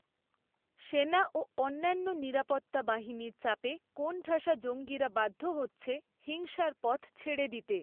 সেনা ও অন্যান্য নিরাপত্তা বাহিনীর চাপে কোনঠাসা জঙ্গিরা বাধ্য হচ্ছে হিংসার পথ ছেড়ে দিতে।